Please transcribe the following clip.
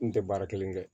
N tɛ baara kelen kɛ